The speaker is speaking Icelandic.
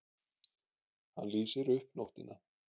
Hann lýsir upp nóttina.